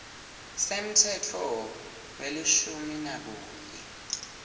semtsetfo welishumi nakunye